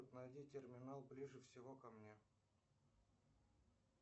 найди терминал ближе всего ко мне